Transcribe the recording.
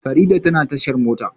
Farida tana tashar mota.